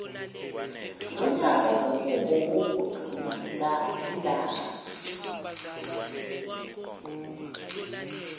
lonyaka sekungowokugcina ngilana